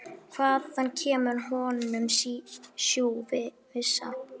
Hvaðan kemur honum sú vissa?